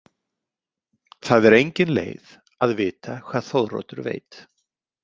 Það er engin leið að vita hvað Þóroddur veit.